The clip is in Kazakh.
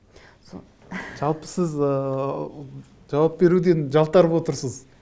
сол жалпы сіз ыыы жауап беруден жалтарып отырсыз